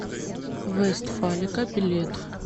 вестфалика билет